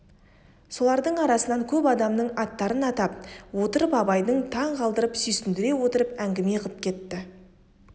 солардың арасынан көп адамның аттарын атап отырып абайды таң қалдырып сүйсіндіре отырып әңгіме қып кетті